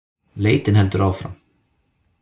Leitin heldur áfram